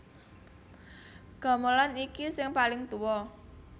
Gamelan iki sing paling tuwa